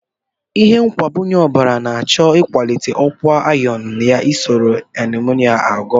Ihe mgbakwunye ọbara na-achọ ịkwalite ọkwa iron yana ịlụso anaemia ọgụ.